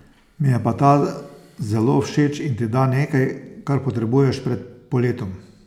Mi je pa ta zelo všeč in ti da nekaj, kar potrebuješ pred poletom.